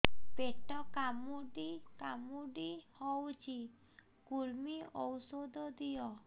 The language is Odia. ପେଟ କାମୁଡି କାମୁଡି ହଉଚି କୂର୍ମୀ ଔଷଧ ଦିଅ